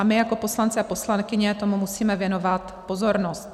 A my jako poslanci a poslankyně tomu musíme věnovat pozornost.